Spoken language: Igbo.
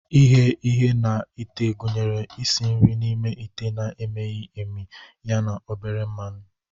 Ighe ihe na ite gụnyere isi nri n'ime ite na-emighị emi ya na obere mmanụ.